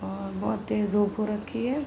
और बोहोत तेज़ धूप हो रखी हुई है।